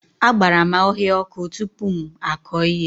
Agbara m ọhịa ọkụ tupu m akọ ihe